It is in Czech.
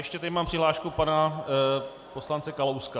Ještě tady mám přihlášku pana poslance Kalouska.